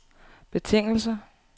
betingelse